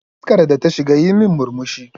Iskar da ta shiga yi min murmushi.